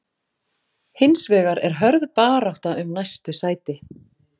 Hins vegar er hörð barátta um næstu sæti.